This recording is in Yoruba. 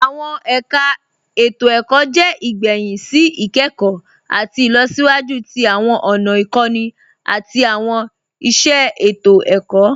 Awọn ẹ̀kà ètò-ẹ̀kọ̀ jẹ́ igbẹ̀hìn sí ikẹkọ̀ àti ilọ̀síwájú tí awọn ọ̀nà ikọ̀nì àti awọn iṣẹ ètò-ẹ̀kọ̀.